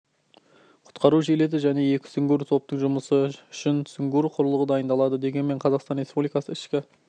құтқару жилеті және екі сүңгуір топтың жұмысы үшін сүңгуір құрылғы дайындады дегенмен қазақстан республикасы ішкі